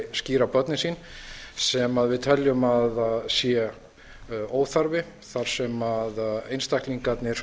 skíra börnin sín sem við teljum að sé óþarfi þar sem einstaklingarnir